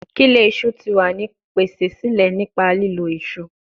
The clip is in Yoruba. Kile iṣu ti wa ni pese sile nipa lilo iṣu